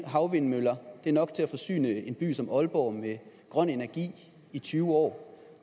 havvindmøller det er nok til at forsyne en by som aalborg med grøn energi i tyve år